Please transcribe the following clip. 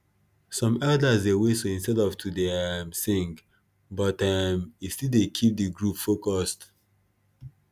some elders dey whistle instead of to dey um sing but um it still dey keep de group focused